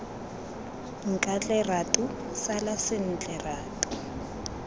nkatle ratu sala sentle ratu